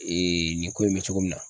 Ee nin ko in be cogo min na